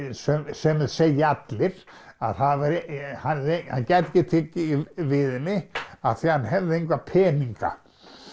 sem þeir segja allir að hann gæti ekki tekið við henni því hann hefði enga peninga